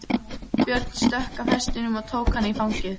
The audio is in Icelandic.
Björn stökk af hestinum og tók hana í fangið.